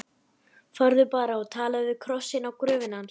Farðu bara og talaðu við krossinn á gröfinni hans.